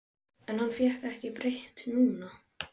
En hann fékk því ekki breytt núna.